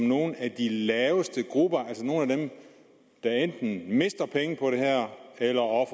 nogle af de grupper der enten mister penge på det her eller